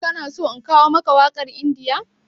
Ka na so in kawo maka wakar India?